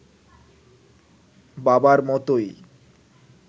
বাবার মতোই